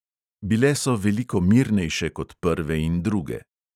Bile so veliko mirnejše kot prve in druge.